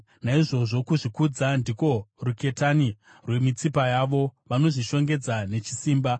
Naizvozvo kuzvikudza ndiko ruketani rwemitsipa yavo; vanozvishongedza nechisimba.